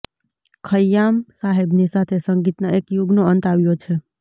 ખય્યામ સાહેબની સાથે સંગીતના એક યુગનો અંત આવ્યો છે